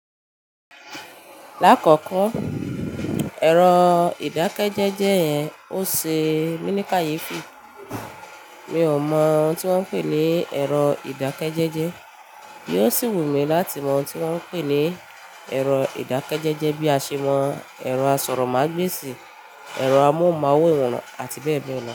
Lákọ̀ọ̀kọ́, ẹ̀rọ ìdákẹ́jẹ́jẹ́ yẹn ò ṣe mí ní kayefi. Mi ò mọ ohun tí wọ́n ń pè ní ẹ̀rọ ìdákẹ́jẹ́jẹ́, bí ó sì wù mí láti mọ ohun tí wọ́n ń pè ní ẹ̀rọ ìdákẹ́jẹ́jẹ́ bí a ṣe mọ ẹ̀rọ asọ̀rọ̀mágbèsì, ẹ̀rọ amóhùnmáwòrán àti bẹ́ẹ̀ bẹ́ẹ̀ lọ.